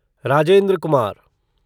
Rajendra Kumar